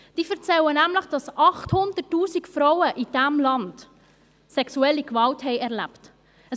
Sie erzählen nämlich, dass in diesem Land 800 000 Frauen sexuelle Gewalt erlebt haben.